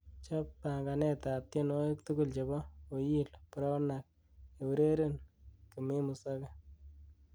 chob panganet ab tienwogik tugul chebo oyilr brownak eureren komemuzoge